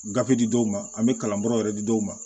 Gafe di dɔw ma an bɛ kalanbaaraw yɛrɛ di dɔw ma